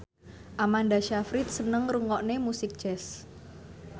Amanda Sayfried seneng ngrungokne musik jazz